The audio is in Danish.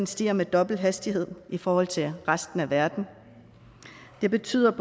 stiger med dobbelt hastighed i forhold til resten af verden det betyder